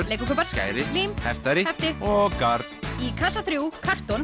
kubbar skæri lím heftari hefti og garn í kassa þrjú